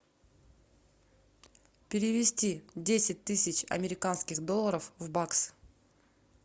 перевести десять тысяч американских долларов в бакс